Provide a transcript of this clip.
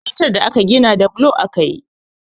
Makarantar da aka gina da bulo aka yi